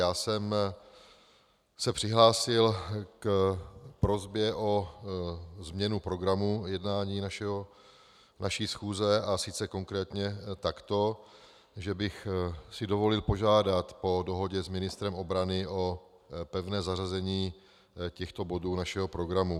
Já jsem se přihlásil k prosbě o změnu programu jednání naší schůze, a sice konkrétně tak, že bych si dovolil požádat po dohodě s ministrem obrany o pevné zařazení těchto bodů našeho programu.